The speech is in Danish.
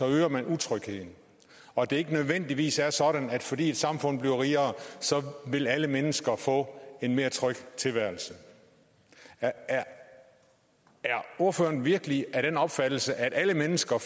øger man utrygheden og at det ikke nødvendigvis er sådan at fordi et samfund bliver rigere vil alle mennesker få en mere tryg tilværelse er ordføreren virkelig af den opfattelse at alle mennesker